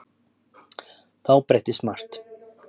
Þá breyttist margt.